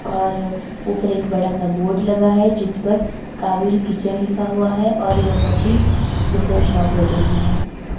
और ऊपर एक बड़ा सा बोर्ड लगा है जिस पर काबिल किचन लिखा हुआ है और यह बहुत ही सुंदर शॉप लग रही है।